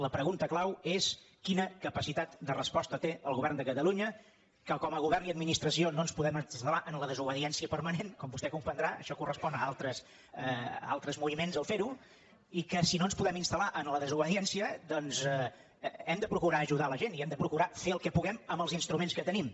la pregunta clau és quina capacitat de resposta té el govern de catalunya que com a govern i administració no ens podem instal·lar en la desobediència permanent com vostè comprendrà això correspon a altres moviments ferho i que si no ens podem instal·lar en la desobediència doncs hem de procurar ajudar la gent i hem de procurar fer el que puguem amb els instruments que tenim